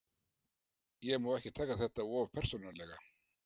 Ég má ekki taka þetta of persónulega.